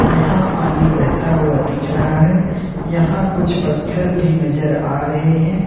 यहां पानी बहता हुआ दिख रहा है यहां कुछ पत्थर भी नजर आ रहे है।